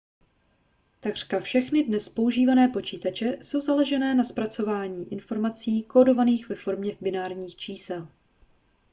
takřka všechny dnes používané počítače jsou založené na zpracování informací kódovaných ve formě binárních čísel